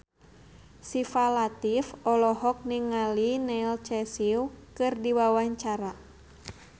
Syifa Latief olohok ningali Neil Casey keur diwawancara